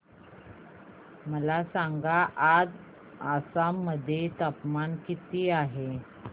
मला सांगा आज आसाम मध्ये तापमान किती आहे